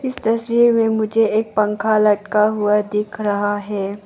इस तस्वीर में मुझे एक पंखा लटका हुआ दिख रहा है।